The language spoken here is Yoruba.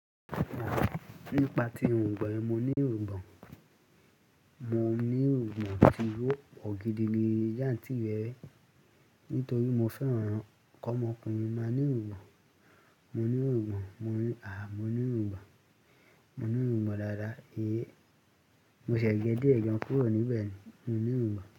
Nípa tí irungbọn yen mo ní irungbon, mo ní irungbon tí ó pọ̀ gidi ni jantírerẹ, nítorí mo fẹ́ran kọmọkùnrin máa ní irungbon, mo ní irungbon, àh! Mo ní irungbon, mo ní irungbon dáada, mo ṣẹ̀ gẹ́ dié gan kúrò níbẹ̀ ni, mo ní irungbon.